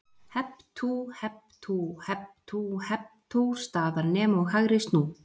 Hep tú, hep tú, hep tú, hep tú staðar nem og hægri snú.